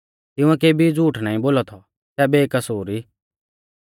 तिंउऐ केबी झ़ूठ नाईं बोलौ थौ सै बेकसूर ई